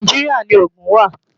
Nàìjíríà ni Ogun wà.